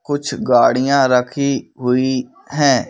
कुछ गाड़ियां रखी हुई हैं।